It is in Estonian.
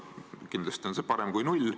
Kindlasti on see parem kui null.